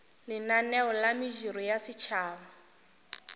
lenaneo la mediro ya setšhaba